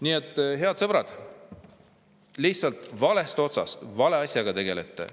Nii et, head sõbrad, lihtsalt valest otsast vale asjaga tegelete.